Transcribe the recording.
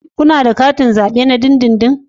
Kuna da katin zabe na dindindin?